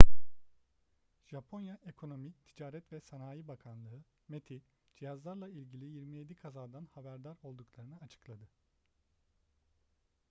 japonya ekonomi ticaret ve sanayi bakanlığı meti cihazlarla ilgili 27 kazadan haberdar olduklarını açıkladı